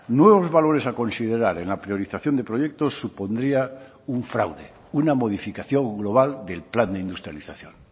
nuevos valores a considerar en la priorización de proyectos supondría un fraude una modificación global del plan de industrialización